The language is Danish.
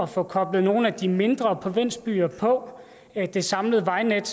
få koblet nogle af de mindre provinsbyer på det samlede vejnet